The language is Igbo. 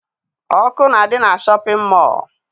Ọkụ na-adị na shọpịn mọọ